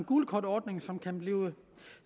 gult kort ordning som kan blive